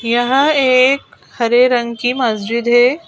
यह एक हरे रंग की मस्जिद है।